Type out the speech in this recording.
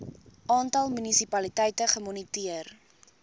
aantal munisipaliteite gemoniteer